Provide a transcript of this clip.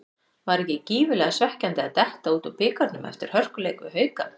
Var ekki gífurlega svekkjandi að detta út úr bikarnum eftir hörkuleik við Hauka?